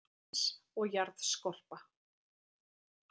Berggrunnur landsins og jarðskorpa